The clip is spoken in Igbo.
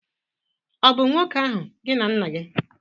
ọ̀ bu nwoke ahu gi na nna-gi?